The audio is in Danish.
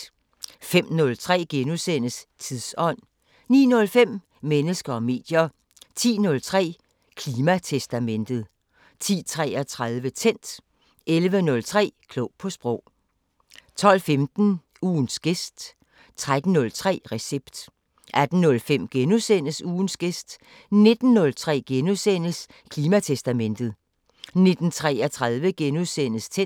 05:03: Tidsånd * 09:05: Mennesker og medier 10:03: Klimatestamentet 10:33: Tændt 11:03: Klog på sprog 12:15: Ugens gæst 13:03: Recept 18:05: Ugens gæst * 19:03: Klimatestamentet * 19:33: Tændt *